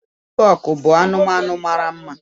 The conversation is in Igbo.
Piikọọkụ bụ anụmanụ mara mma.